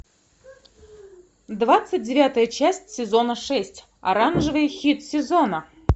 двадцать девятая часть сезона шесть оранжевый хит сезона